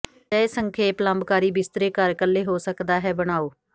ਅਜਿਹੇ ਸੰਖੇਪ ਲੰਬਕਾਰੀ ਬਿਸਤਰੇ ਘਰ ਇਕੱਲੇ ਹੋ ਸਕਦਾ ਹੈ ਬਣਾਓ